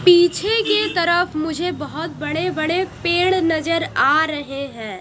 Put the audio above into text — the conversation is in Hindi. पीछे के तरफ मुझे बहोत बड़े बड़े पेड़ नजर आ रहे हैं।